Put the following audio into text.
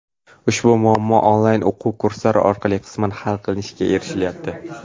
Ushbu muammo onlayn o‘quv kurslari orqali qisman hal qilinishiga erishilyapti.